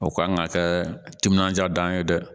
O kan ka kɛ timinandiya ye dɛ